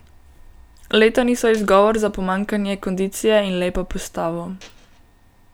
Leta niso izgovor za pomanjkanje kondicije in lepo postavo.